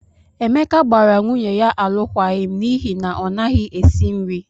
Emeka gbara nwunye ya alụkwaghịm n'ihi na ọ naghị esi nri.